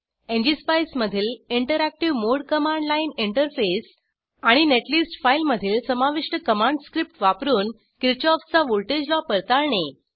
ngspice मधील interactive mode command line interface आणि netlist फाइलमधील समाविष्ट कमांड्स स्क्रिप्ट वापरून किरशॉफचा व्हॉल्टेज लॉ पडताळणे